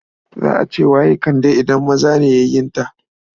Za a ce wa ƴa Kande idan maza ne yayunta.